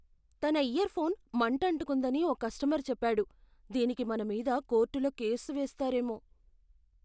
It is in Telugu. తన ఇయర్ఫోన్ మంటంటుకుందని ఓ కస్టమర్ చెప్పాడు. దీనికి మన మీద కోర్టులో కేసు వేస్తారేమో.